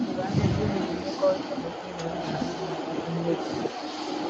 o doro anya na imebi mmekọrita ụmụ gi na nna ha na akpata mmebi